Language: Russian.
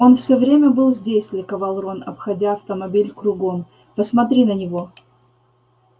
он всё время был здесь ликовал рон обходя автомобиль кругом посмотри на него